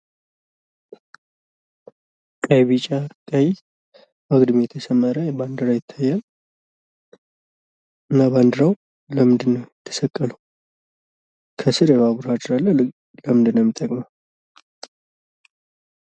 ቀይ፣ ቢጫ፣ ቀይ አግድም የተሰመረ ባንዲራ ይታያል። እና ባንዲራው ለምንድነው የተሰቀለው? ከስር የባቡር ሀዲድ አለ ለምን ነው የሚጠቅመው?